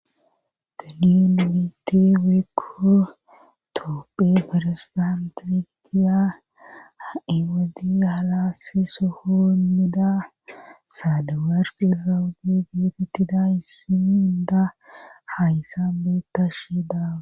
Galin wiiti woykko toopphe feresdantiqiya ewodi halaasiso hoomida saadawarqi zawudi geetettida issin inda hayssan beettashe daa.